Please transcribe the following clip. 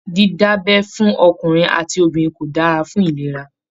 Dida'bẹ́ fún ọkùnrin àti obìnrin kò dára fún ìlera.